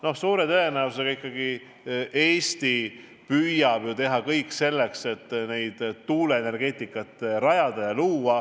Noh, suure tõenäosusega ikkagi Eesti püüab teha kõik selleks, et tuuleenergeetikat arendada.